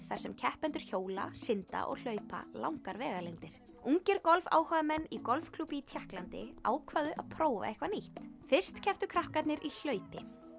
þar sem keppendur hjóla synda og hlaupa langar vegalengdir ungir golfáhugamenn í golfklúbbi í Tékklandi ákváðu að prófa eitthvað nýtt fyrst kepptu krakkarnir í hlaupi